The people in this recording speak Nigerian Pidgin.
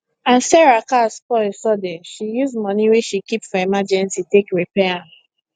as sarah car spoil sudden she use money wey she keep for emergency take repair am